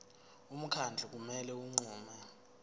umkhandlu kumele unqume